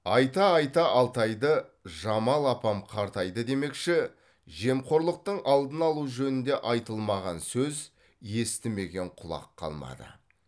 айта айта алтайды жамал апам қартайды демекші жемқорлықтың алдын алу жөнінде айтылмаған сөз естімеген құлақ қалмады